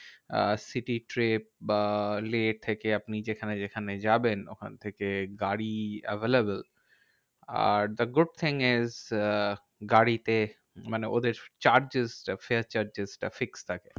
আহ city trip বা লেহ থেকে আপনি যেখানে যেখানে যাবেন, ওখান থেকে গাড়ি available. আর the good thing is ah গাড়িতে মানে ওদের charges টা fare charges টা fixed থাকে।